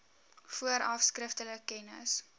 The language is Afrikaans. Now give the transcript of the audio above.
vooraf skriftelik kennis